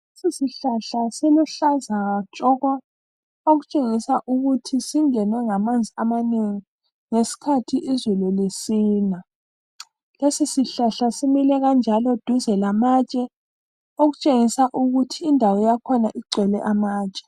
Lesi sihlahla siluhlaza tshoko, okutshengisa ukuthi singenwe ngamanzi amanengi ngesikhathi izulu lisina. Lesi sihlahla simile njalo duze lamatshe okutshengisa ukuthi indawo yakhona igcwele amatshe.